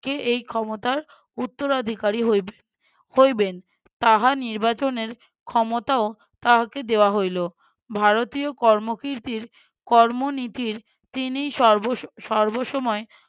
কে এই ক্ষমতার উত্তরাধিকারী হইবে হইবেন তাহা নির্বাচনের ক্ষমতাও তাহাকে দেওয়া হইলো। ভারতীয় কর্মকীর্তির কর্ম নীতির তিনিই সর্বস~ সর্বস্বময়